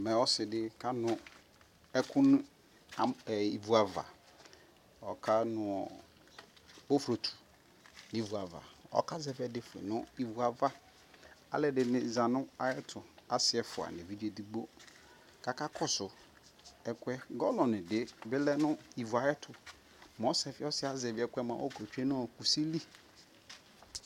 Mɛ ɔsi di ka nu ɛkuɛ di nu ivu avaƆka nu ɔ boflot ni vu avaƆka zɛvi ɛdi nu ivu avaAlu ɛdini za nu ayɛ tuƆsi ɛfua nu ɛvidze digbo kaka kɔ su ɛkuɛGalɔ di bi lɛ nu ivu ya yɛ tu Mɛ ɔsi yɛ azɛvi ɛkuɛ mua ɔkɛ yɛ tsue nu kusi li